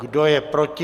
Kdo je proti?